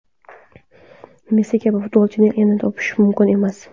Messi kabi futbolchini yana topish mumkin emas.